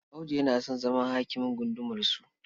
Audu yana son zama hakimin gundumarsu..